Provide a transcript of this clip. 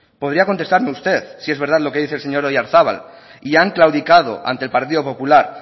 podría contestarme usted es verdad lo que dice el señor oyarzabal y han claudicado ante el partido popular